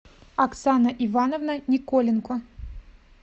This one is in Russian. оксана ивановна николенко